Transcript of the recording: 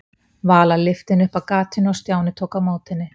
Vala lyfti henni upp að gatinu og Stjáni tók á móti henni.